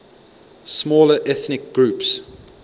smaller ethnic groups